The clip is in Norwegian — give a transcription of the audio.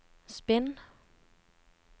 spinn